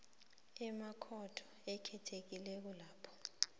emakhotho akhethekileko lapho